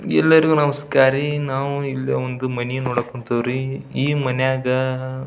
ಎಲ್ಲರಿಗೂ ನಮಸ್ಕಾರ ರೀ ನಾವು ಇಲ್ಲಿ ಒಂದು ಮನಿ ನೋಡಕ್ ಹೊಂತೀವ್ರಿ ಈ ಮನಿಯಾಗ --